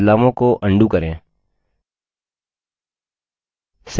बदलावों को undo करें